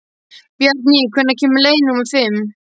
Bjarný, hvenær kemur leið númer fimm?